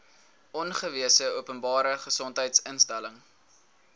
aangewese openbare gesondheidsinstelling